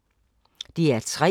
DR P3